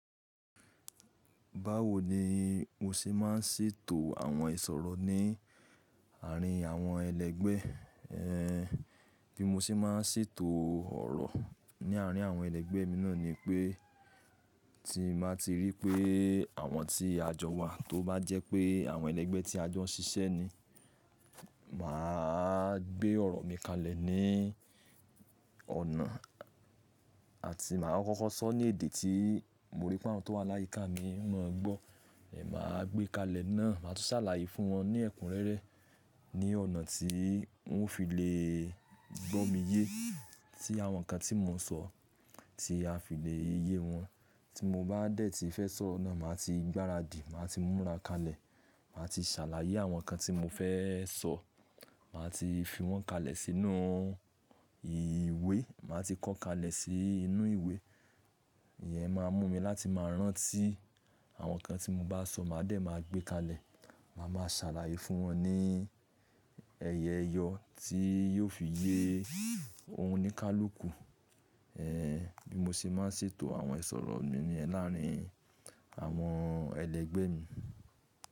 Báwo ni mo ṣé máa ń ṣètò àwọn ìṣòro ní àárín àwọn ẹlẹ́gbẹ́ ẹ́, bí mo ṣe máa ń ṣètò ọ̀rọ̀ ní àárín àwọn ẹlẹ́gbẹ́ mi náà ni pé tí màá ti rí pé àwọn tí a jọ wà tó bá jẹ́ pé àwọn ẹlẹ́gbẹ́ tí a jọ ṣiṣẹ́ ni, màá gbé ọ̀rọ̀ mi kalẹ̀ ní ọ̀nà àti màá kókó sọ ní èdè tí mo rí pọ́n tán tó wà láyìí ká mi, wọn ò gbọ́, èmi máa gbé kalẹ̀ náà, màá tún ṣàlàyé fún wọn ní ẹ̀kún rẹ́rẹ́ ní ọ̀nà tí wọ́n fi lè gbọ́ mi yé. Tí àwọn nǹkan tí mo ń sọ, tí a fi lè yé wọn. Tí mo bá dẹ̀ tí fẹ́ sọ oro nà, màá ti gbára dì, màá ti múra kalẹ̀, màá ti ṣàlàyé àwọn nǹkan tí mo fẹ́ sọ, màá ti fi wọ́n kalẹ̀ sínú ìwé, màá ti kọ kalẹ̀ sí inú ìwé. Ìyẹn máa mú mi láti máa rántí àwọn nǹkan tí mo bá sọ, màá dẹ̀ máa gbé kalẹ̀. Màá máa ṣàlàyé fún wọn ní ẹyẹ yọ tí yóò fi yé ohun níkálùúkù. Ẹ̀, bí mo ṣe máa ń ṣètò àwọn ìṣòro mi ní àárín àwọn ẹlẹ́gbẹ́ mi.